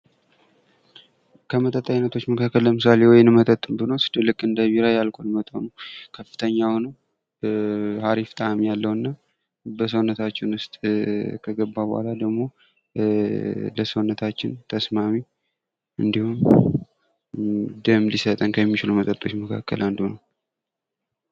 የመጠጥ አይነቶች መካከል ለምሳሌ የወይን መጠጥን ብንወስድ ልክ እንደ ቢራ መጠጥ የአልኮል መጠኑ ከፍተኛ ሆኖየአልኮል መጠኑ ከፍተኛ ሆኖ